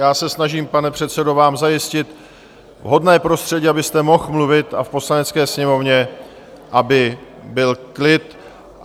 Já se snažím, pane předsedo, vám zajistit vhodné prostředí, abyste mohl mluvit a v Poslanecké sněmovně aby byl klid.